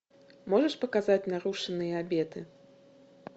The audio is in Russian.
можешь показать нарушенные обеты